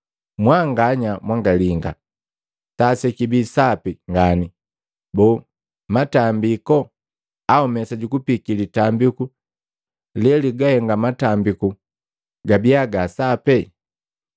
Mwanganya mwangalinga! Saa sekibi sapi ngani, boo matambiku au mesa jukupiiki litambiku leligahenga matambiku gabia ga sapi?